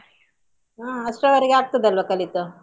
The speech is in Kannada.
ಹಾ ಅಷ್ಟ್ರವರೆಗೆ ಆಗ್ತದಲ್ಲಾ ಕಲಿತು.